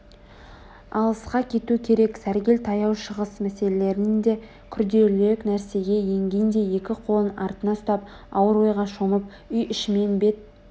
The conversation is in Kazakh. алысқа кету керек сәргел таяу шығыс мәселелерінен де күрделірек нәрсеге енгендей екі қолын артына ұстап ауыр ойға шомып үй ішімен бет